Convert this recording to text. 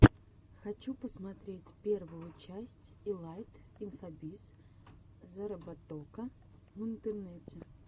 хочу посмотреть первую часть илайт инфобиз зароботока в интернете